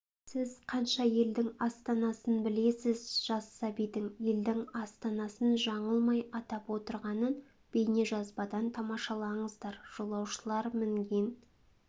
сіз қанша елдің астанасын білесіз жас сәбидің елдің астанасын жаңылмай атап отырғанын бейнежазбадан тамашалаңыздар жолаушылар мінген